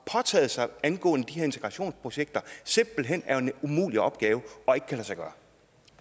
påtaget sig angående de her integrationsprojekter simpelt hen er en umulig opgave